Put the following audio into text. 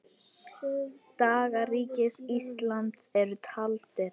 Dagar Ríkis íslams eru taldir.